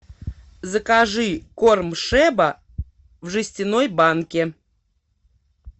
закажи корм шеба в жестяной банке